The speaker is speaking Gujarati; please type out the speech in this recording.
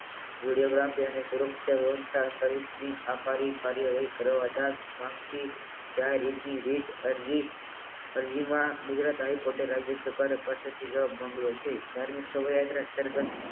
વિડીયોગ્રાફી અને સુરક્ષા બનતા સહિતની કાર્યવાહી કરવા માગતી દરેકની રીત ગુજરાત હાઇકોર્ટ પાછળથી જવાબ મોકલ્યો છે ત્યારે એક શોભાયાત્રા